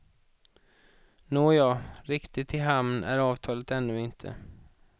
Nåja, riktigt i hamn är avtalet ännu inte.